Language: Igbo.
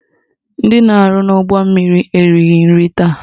Ndị na-arụ n'ụgbọmmiri erighi nri taa